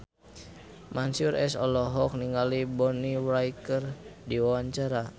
Mansyur S olohok ningali Bonnie Wright keur diwawancara